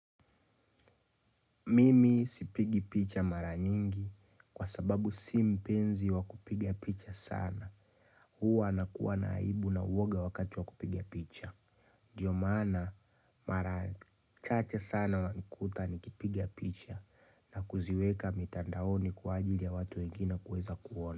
Mimi sipigi picha mara nyingi kwa sababu si mpenzi wa kupiga picha sana. Huwa nakuwa na aibu na uoga wakati wa kupiga picha. Ndiyo maana mara chache sana wanikuta nikipiga picha na kuziweka mitandaoni kwa ajili ya watu wengine kuweza kuona.